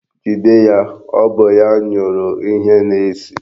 Jide ya, ọ bụ ya nyụrụ ihe na-esi!